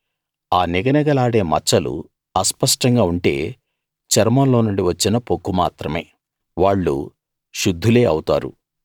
ఆ నిగనిగలాడే మచ్చలు అస్పష్టంగా ఉంటే చర్మం లోనుండి వచ్చిన పొక్కు మాత్రమే వాళ్ళు శుద్ధులే అవుతారు